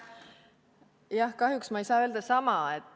Jah, kahjuks ma ei saa öelda sama.